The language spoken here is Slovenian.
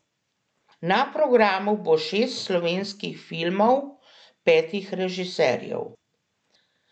Na programu bo šest slovenskih filmov petih režiserjev.